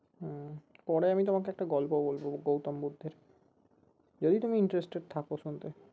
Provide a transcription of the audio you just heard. হম পরে আমি তোমাকে একটা গল্প বলবো গৌতম বুদ্ধের যদি তুমি interested থাকো শুনতে